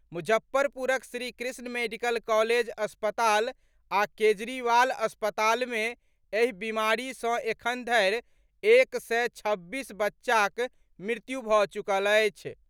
मुजफ्फरपुरक Shrikrishna medical college अस्पताल आ केजरीवाल अस्पताल मे एहि बीमारी सॅ एखन धरि एक सय छब्बीस बच्चाक मृत्यु भऽ चुकल अछि।